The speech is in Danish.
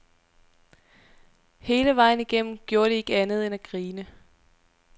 Hele vejen igennem gjorde de ikke andet end at grine.